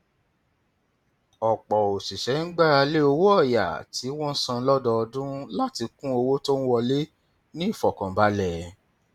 ọpọ òṣìṣẹ ń gbára lé owó ọyà tí wọn san lọdọọdún láti kún owó tó ń wọlé ní ìfọkànbalẹ